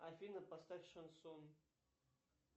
афина поставь шансон